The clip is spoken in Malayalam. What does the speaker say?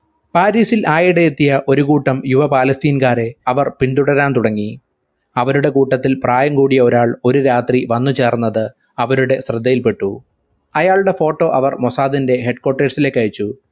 പാരിസിൽ ആയിടെയെത്തിയ ഒരുകൂട്ടം യുവ പാലസ്തീൻകാരെ അവർ പിന്തുടരാൻ തുടങ്ങി അവരുടെ കൂട്ടത്തിൽ പ്രായം കൂടിയ ഒരാൾ ഒരു രാത്രി വന്നു ചേർന്നത് അവരുടെ ശ്രദ്ധയിൽപെട്ടു അയാളുടെ photo അവർ മൊസാദിൻറെ head quarters ലേക്ക് അയച്ചു